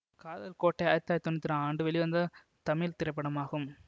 காதல் கோட்டை ஆயிரத்தி தொள்ளாயிரத்தி தொன்னூற்தி ஆறா ஆண்டு வெளிவந்த தமிழ் திரைப்படமாகும்